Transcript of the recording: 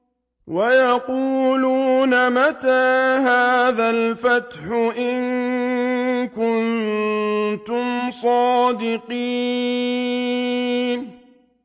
وَيَقُولُونَ مَتَىٰ هَٰذَا الْفَتْحُ إِن كُنتُمْ صَادِقِينَ